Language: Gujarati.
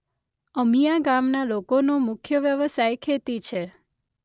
અમીયા ગામના લોકોનો મુખ્ય વ્યવસાય ખેતી છે.